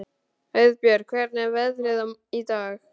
Auðbjört, hvernig er veðrið í dag?